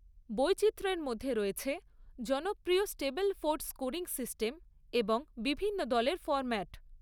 বৈচিত্রের মধ্যে রয়েছে জনপ্রিয় স্টেবলফোর্ড স্কোরিং সিস্টেম এবং বিভিন্ন দলের ফর্ম্যাট।